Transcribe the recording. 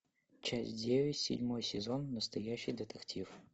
часть девять седьмой сезон настоящий детектив